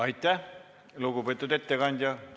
Aitäh, lugupeetud ettekandja!